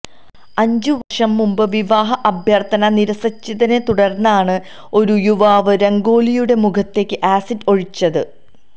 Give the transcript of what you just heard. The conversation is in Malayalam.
അഞ്ചു വര്ഷം മുമ്ബ് വിവാഹ അഭ്യര്ഥന നിരസിച്ചതിനെ തുടര്ന്നാണ് ഒരു യുവാവ് രംഗോലിയുടെ മുഖത്തേക്ക് ആസിഡ് ഒഴിച്ചത്